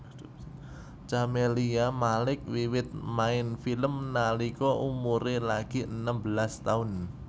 Camelia Malik wiwit main film nalika umuré lagi enem belas taun